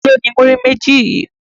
Ta ló ni múrí méjì yìí?